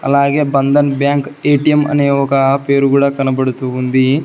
అలాగే Bandhan bank ATM అనే ఒక పేరు కూడా కనబడుతూ ఉంది.